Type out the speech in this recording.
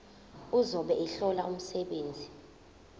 ozobe ehlola umsebenzi